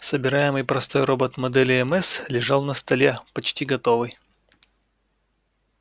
собираемый простой робот модели мс лежал на столе почти готовый